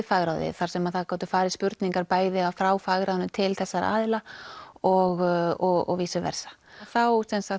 fagráðið þar sem gátu farið spurningar bæði frá fagráðinu til þessara aðila og versa þá